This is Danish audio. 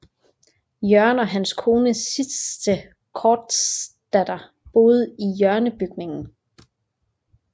Jørgen og hans kone Citze Kortzdatter boede i hjørnebygningen